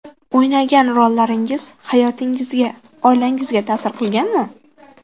O‘ynagan rollaringiz hayotingizga, oilangizga ta’sir qilganmi?